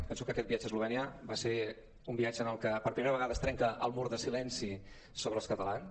penso que aquest viatge a eslovènia va ser un viatge en el que per primera ve·gada es trenca el mur de silenci sobre els catalans